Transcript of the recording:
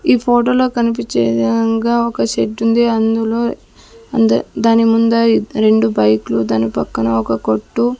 ఈ ఫోటో లో కనిపించే విధంగా ఒక షెడ్ ఉంది. అందులో అంధ దాని ముందు దాని రెండు బైక్ లు దాని పక్కన ఒక కొట్టు.